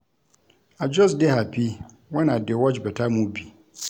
I just dey happy wen I dey watch beta movie